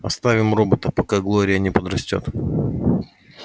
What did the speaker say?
оставим робота пока глория не подрастёт